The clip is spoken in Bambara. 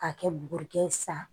K'a kɛ bugurikɛ ye sa